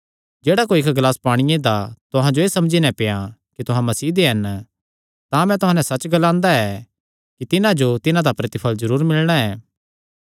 जेह्ड़ा कोई इक्क ग्लास पांणिये दा तुहां जो एह़ समझी नैं पियां कि तुहां मसीह दे हन तां मैं तुहां नैं सच्च ग्लांदा ऐ कि तिन्हां जो तिन्हां दा प्रतिफल़ जरूर मिलणा ऐ